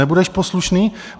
Nebudeš poslušný?